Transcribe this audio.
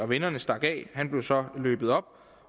vennerne stak af og han blev så løbet op